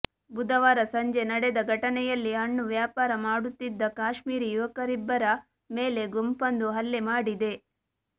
ಬುಧವಾರ ಸಂಜೆ ನಡೆದ ಘಟನೆಯಲ್ಲಿ ಹಣ್ಣು ವ್ಯಾಪಾರ ಮಾಡುತ್ತಿದ್ದ ಕಾಶ್ಮೀರಿ ಯುವಕರಿಬ್ಬರ ಮೇಲೆ ಗುಂಪಂದು ಹಲ್ಲೆ ಮಾಡಿದೆ